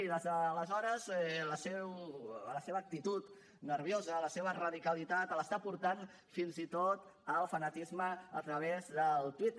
i des d’aleshores la seva actitud nerviosa la seva radicalitat l’està portant fins i tot al fanatisme a través del twitter